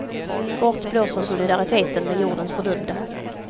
Bort blåser solidariteten med jordens fördömda.